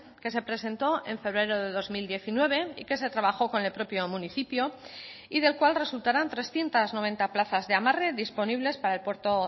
que se presentó en febrero de dos mil diecinueve y que se trabajó con el propio municipio y del cual resultarán trescientos noventa plazas de amarre disponibles para el puerto